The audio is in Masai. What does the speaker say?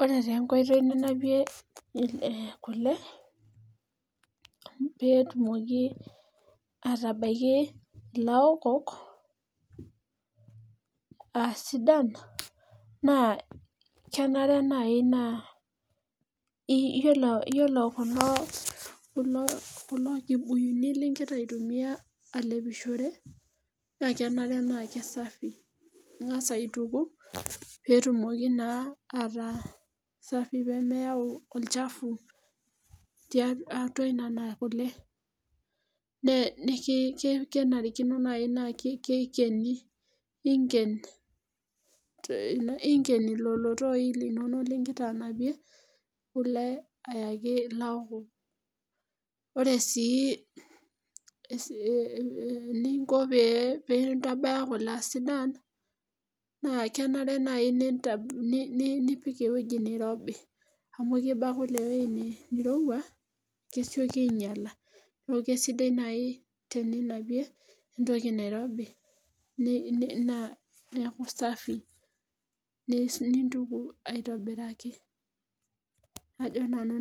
ore taa enkoitoi ninapie kule pee etumoki atabaki ilaokok aa sidan naa keenare naaji paa iyiolo kulo kibuyuni ligira aitumiya alepishore naa kenare paa kisafi, ing'as aituku, pee etumoki naa ataa safi pee meyau olchafu atua nenakule , naa kenarikino naaji paa keikeni lelotoi linonok ligira anapie kule ayaki ilaokok ,ore sii eninko pee indabaya kule aa sidan naa kenare naaji nipik eweji nirobi amu kiba kule eweji nirowua kesioki aing'iala neeku kisidai naaji tininapie entoki nairobi neeku safi ninntuku aitobiraki ajo nanu